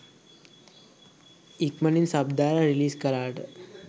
ඉක්මනින්ම සබ් දාලා රිලිස් කලාට.